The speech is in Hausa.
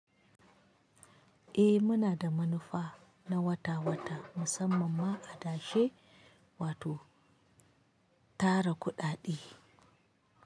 Eh muna da manufa na wata wata musamman ma a dashi wato tara kudade.